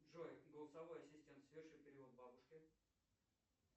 джой голосовой ассистент соверши перевод бабушке